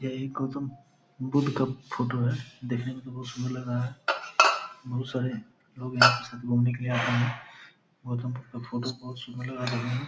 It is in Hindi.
यह एक गौतम बुद्ध का फोटो है देखने मे तो बहोत सुंदर लग रहा है बहोत सारे लोग यहाँ पे शायद घूमने के लिए आते हैं। गौतम बुद्ध का फोटो बहोत सुंदर लग रहा है देखने में।